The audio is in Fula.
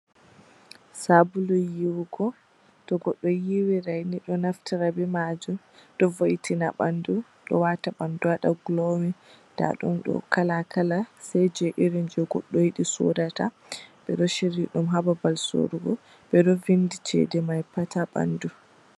Sabulu yiwugo. To goɗɗo yiwirai ni ɗo naftira be majum ɗo vo, itina ɓandu, ɗo wata ɓandu waɗa gulowin. Nda ɗum ɗo kala kala sai je irin goɗɗo yidi sodata. Ɓeɗo shiryiɗum ha babal sorogo. Ɓeɗo vindi chedemai pat ha ɓandu.